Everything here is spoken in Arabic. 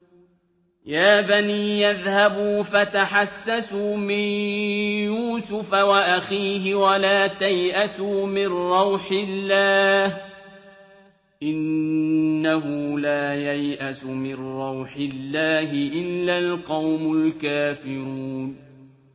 يَا بَنِيَّ اذْهَبُوا فَتَحَسَّسُوا مِن يُوسُفَ وَأَخِيهِ وَلَا تَيْأَسُوا مِن رَّوْحِ اللَّهِ ۖ إِنَّهُ لَا يَيْأَسُ مِن رَّوْحِ اللَّهِ إِلَّا الْقَوْمُ الْكَافِرُونَ